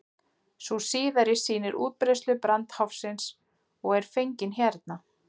sú síðari sýnir útbreiðslu brandháfsins og er fengin hérna